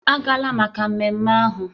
Agala maka ememme ahụ!